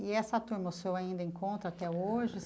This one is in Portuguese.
E essa turma, o senhor ainda encontra até hoje?